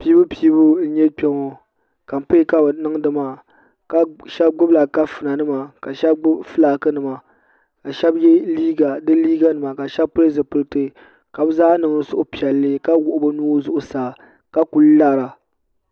pɛbupɛbu n nyɛ kpɛ ŋɔ kamipɛi ka bi midi maa shɛbi gbabola kaƒɔnanima ka shɛbi gbabi ƒɔlaaki nima ka shɛbi yɛ liga nima di liga nima ka pɛli zibilitɛ ka be zaa niŋ suhipiɛlli ka wuɣ' be nuhi zuɣ saa ka kuli laara